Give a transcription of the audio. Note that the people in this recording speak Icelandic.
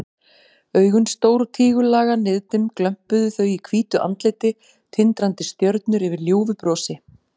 Augun stór og tígullaga, niðdimm glömpuðu þau í hvítu andliti, tindrandi stjörnur yfir ljúfu brosi.